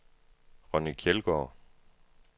Ronni Kjeldgaard